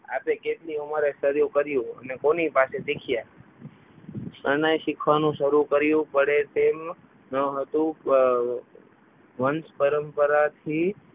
હા તે કેટલી ઉંમરે શરૂ કર્યું ને કોની પાસે શીખ્યા શરણાઈ શીખવાનું શરૂ કર્યું પડે તેમ ન હતું વંશ પરંપરાથી